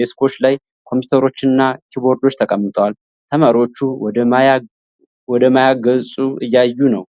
ዴስኮች ላይ ኮምፒውተሮችና ኪቦርዶች ተቀምጠዋል። ተማሪዎቹ ወደ ማያ ገጹ እያዩ ነው።